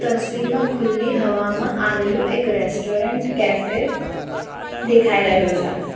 તસવીરમાં ખુલ્લી હવામાં આવેલું એક રેસ્ટોરન્ટ કૅફે દેખાઈ રહ્યું છે.